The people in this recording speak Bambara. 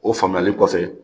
O faamuyali kɔfɛ